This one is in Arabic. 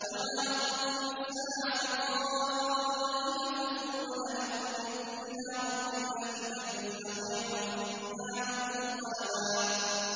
وَمَا أَظُنُّ السَّاعَةَ قَائِمَةً وَلَئِن رُّدِدتُّ إِلَىٰ رَبِّي لَأَجِدَنَّ خَيْرًا مِّنْهَا مُنقَلَبًا